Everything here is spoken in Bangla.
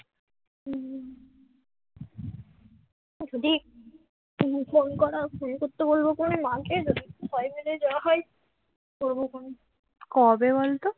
কবে বলতো